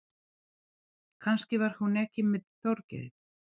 Kannski var hún ekki með Þorgeiri.